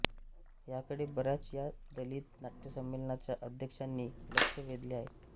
ह्याकडे बऱ्याच या दलित नाट्यसंमेलनाच्या अध्यक्षांनी लक्ष वेधले आहे